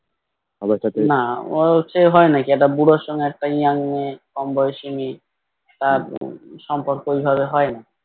না ওর হচ্ছে হয় নাকি একটা বুড়োর সাথে একটা Young মেয়ে কম বয়সী মেয়ে তার সম্পর্ক ও ভাবে হয় না